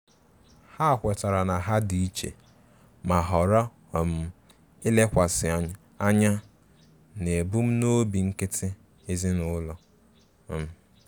Ha kwetara na ha di iche ma họrọ um ilekwasi anya n'ebumnobi nkịtị ezinụlọ. um